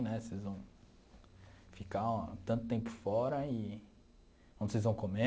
Né vocês vão ficar tanto tempo fora e... Onde vocês vão comer?